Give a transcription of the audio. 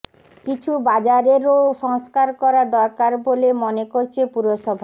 কিছু বাজারেরও সংস্কার করা দরকার বলে মনে করছে পুরসভা